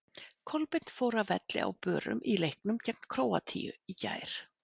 Kolbeinn fór af velli á börum í leiknum gegn Króatíu í gær.